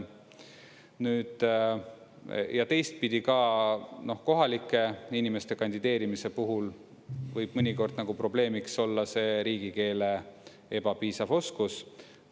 Ja teistpidi ka, kohalike inimeste kandideerimise puhul võib mõnikord nagu probleemiks olla see riigikeele ebapiisav oskus.